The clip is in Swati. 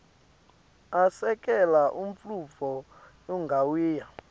asekela umnotfo ungawia